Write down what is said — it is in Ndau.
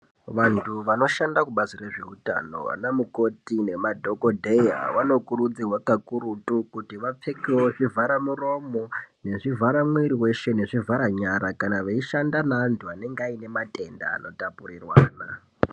Vantu vanoshanda kubazi rezveutano ana mukoti nemadhokodheya anokurudzirwa kakurutu kuti apfeke zvivhara muromo, nezvivhara mwiri weshe, nezvenyara kana veishanda neantu anenge aine matenda anotapurirwa.